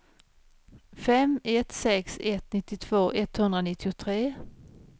fem ett sex ett nittiotvå etthundranittiotre